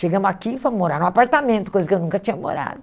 Chegamos aqui e fomos morar num apartamento, coisa que eu nunca tinha morado.